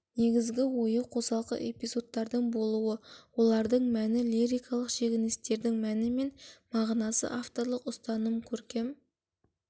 негізгі ойы қосалқы эпизодтардың болуы олардың мәні лирикалық шегіністердің мәні мен мағынасы авторлық ұстаным көркем